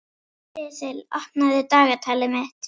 Sesil, opnaðu dagatalið mitt.